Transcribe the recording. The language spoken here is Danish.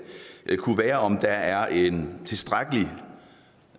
kunne være om der er en tilstrækkelig